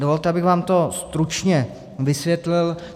Dovolte, abych vám to stručně vysvětlil.